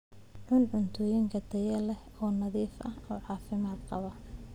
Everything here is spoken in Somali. Cun cuntooyin tayo leh oo nadiif ah oo caafimaad qaba.